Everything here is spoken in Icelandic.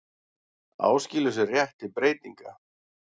Áskilur sér rétt til breytinga